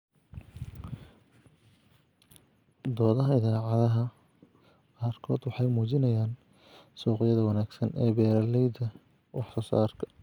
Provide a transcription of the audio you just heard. Doodaha idaacadaha qaarkood waxay muujinayaan suuqyada wanaagsan ee beeralayda wax soo saarka.